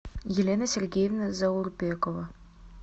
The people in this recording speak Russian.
елена сергеевна заурбекова